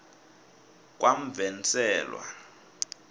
kamvenselwa